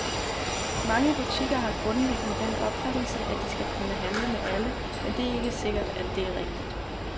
Mange butikker har grundlæggende den opfattelse, at de skal kunne handle med alle, men det er ikke sikkert, at det er rigtigt.